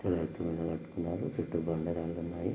ఇక్కడ ఎత్తు మీద కట్టుకున్నారు చుట్టూ బండ రాళ్లు ఉన్నాయి.